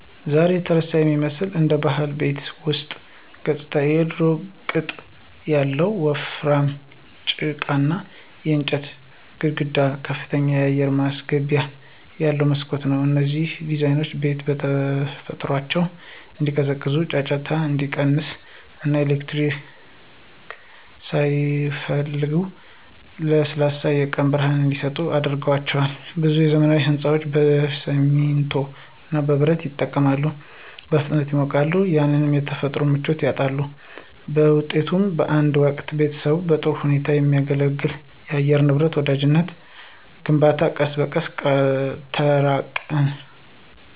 ዛሬ የተረሳ የሚመስለው አንዱ ባህላዊ የቤት ውስጥ ገጽታ የድሮው ቅጥ ያለው ወፍራም ጭቃና የእንጨት ግድግዳ ከፍተኛ አየር ማስገቢያ ያለው መስኮት ነው። እነዚህ ዲዛይኖች ቤቶቹ በተፈጥሯቸው እንዲቀዘቅዙ፣ ጫጫታ እንዲቀንስ እና ኤሌክትሪክ ሳያስፈልጋቸው ለስላሳ የቀን ብርሃን እንዲሰጡ አድርጓቸዋል። ብዙ ዘመናዊ ሕንፃዎች በሲሚንቶ እና በብረት ይጠቀማሉ, በፍጥነት ይሞቃሉ እና ያንን የተፈጥሮ ምቾት ያጣሉ. በውጤቱም፣ በአንድ ወቅት ቤተሰቦችን በጥሩ ሁኔታ ከሚያገለግል ለአየር ንብረት ወዳጃዊ ግንባታ ቀስ በቀስ ተራቅን።